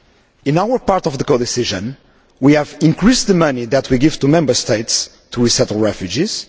In our part of the codecision, we increased the money that we give to Member States to resettle refugees